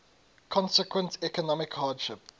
consequent economic hardship